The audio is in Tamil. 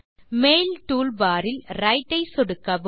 மெயில் டூல்பார் இல் விரைட் ஐ சொடுக்கவும்